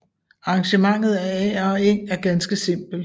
Arrangementet af ager og eng er ganske simpelt